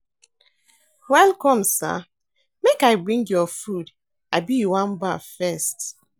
Welcome Sir, make I bring your food abi you wan baff first?